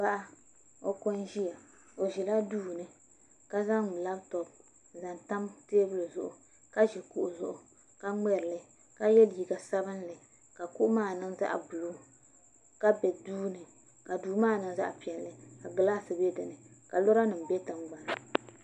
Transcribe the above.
Paɣa o ko n ʒiya o ʒila duu ni ka zaŋ labtop n zaŋ tam teebuli zuɣu ka ʒi kuɣu zuɣu ka ŋmɛrili ka yɛ liiga sabinli ka kuɣu maa niŋ zaɣ sabinli ka bɛ duu ka duu maa niŋ zaɣ piɛlli ka gilaas bɛ dinni ka lora nim bɛ tingbanni